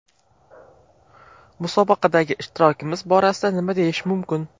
Musobaqadagi ishtirokimiz borasida nima deyish mumkin?